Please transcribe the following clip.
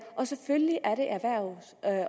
og selvfølgelig er det erhvervs